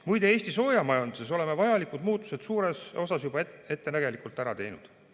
Muide, Eesti soojamajanduses oleme vajalikud muutused suures osas juba ettenägelikult ära teinud.